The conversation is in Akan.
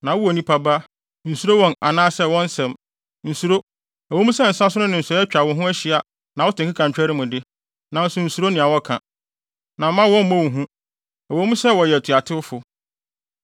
Na wo, onipa ba, nsuro wɔn anaasɛ wɔn nsɛm. Nsuro, ɛwɔ mu sɛ nsasono ne nsɔe atwa wo ho ahyia na wote nkekantwɛre mu de, nanso nsuro nea wɔka, na mma wɔmmɔ wo hu, ɛwɔ mu sɛ wɔyɛ atuatewfo.